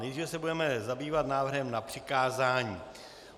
Nejdříve se budeme zabývat návrhem na přikázání.